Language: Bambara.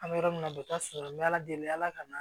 An bɛ yɔrɔ min na u bɛ taa sɔrɔ n bɛ ala deli ala ka na